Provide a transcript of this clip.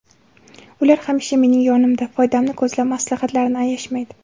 Ular hamisha mening yonimda, foydamni ko‘zlab maslahatlarini ayashmaydi.